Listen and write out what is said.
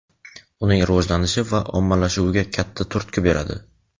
uning rivojlanishi va ommalashuviga katta turtki beradi.